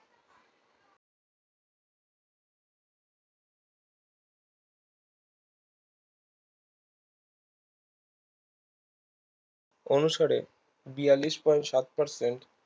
অনুসারে বিয়াল্লিশ point সাত persent